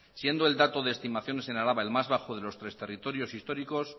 siendo el dato de estimaciones en araba el más bajo de los tres territorios históricos